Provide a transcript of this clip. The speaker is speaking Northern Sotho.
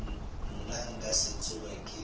nna nka se tsoge ke